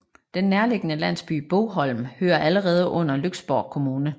Den nærliggende landsby Bogholm hører allerede under Lyksborg Kommune